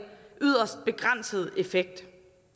yderst begrænset effekt